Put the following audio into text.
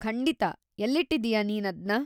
ಖಂಡಿತಾ, ಎಲ್ಲಿಟ್ಟಿದೀಯಾ ನೀನದ್ನ?